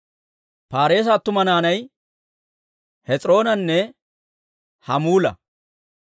Paareesa attuma naanay Hes'iroonanne Hamuula.